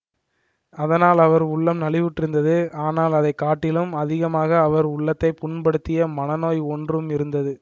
அதனால் அவர் உள்ளம் நலிவுற்றிருந்தது ஆனால் அதை காட்டிலும் அதிகமாக அவர் உள்ளத்தை புண்படுத்திய மன நோய் ஒன்றும் இருந்தது